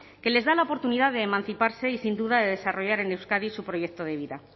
que les da la oportunidad de emanciparse y sin duda de desarrollar en euskadi su proyecto de vida